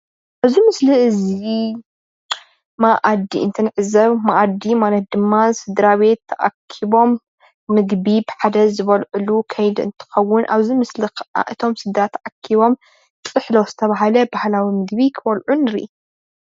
እዚ ምስሊ እዚ መኣዲ እንትንዕዘብ; መኣዲ ማለት ድማ ስድራቤት ተኣኪቦም ምግቢ ብሓደ ዝበልዕሉ ከይዲ እንትከውን ኣብዚ ምስሊ ከዓ እቶም ስድራ ተኣኪቦም ጥሕሎ ዝተበሃለ ባህላዊ ምግቢ ክበልዑ ንርኢ።